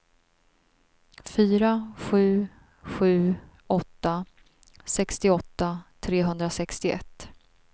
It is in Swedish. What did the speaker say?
fyra sju sju åtta sextioåtta trehundrasextioett